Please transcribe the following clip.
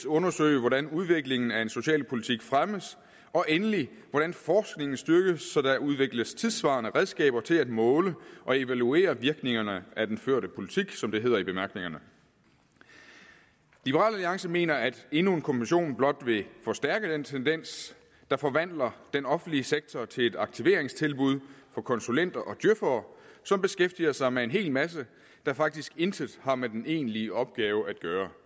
undersøge hvordan udviklingen af en socialpolitik fremmes og endelig se hvordan forskningen styrkes så der udvikles tidssvarende redskaber til at måle og evaluere virkningerne af den førte politik som det hedder i bemærkningerne liberal alliance mener at endnu en kommission blot vil forstærke den tendens der forvandler den offentlige sektor til et aktiveringstilbud for konsulenter og djøfere som beskæftiger sig med en hel masse der faktisk intet har med den egentlige opgave at gøre